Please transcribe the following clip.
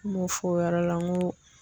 N m'o fɔ o yɔrɔ la n go